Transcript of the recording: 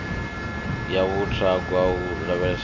ya vhut hogwa ho lavheleswa